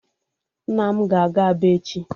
Nna m ga-aga Aba echi.